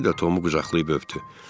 Kişi də Tomu qucaqlayıb öpdü.